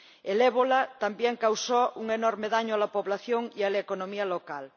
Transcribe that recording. El ébola también causó un enorme daño a la población y a la economía local.